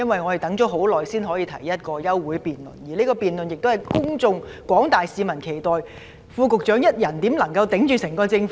我們等了很久才可以提出一項休會待續議案，而這項辯論又受廣大市民期待，試問副局長一人如何可以代表整個政府呢？